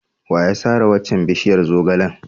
Wa ya sare waccan bishiyar zogalen?